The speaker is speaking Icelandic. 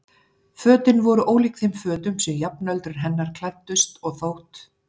Fötin voru ólík þeim fötum sem jafnöldrur hennar klæddust og þótt